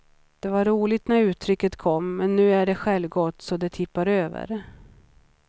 Det var roligt när uttrycket kom, men nu är det självgott så det tippar över.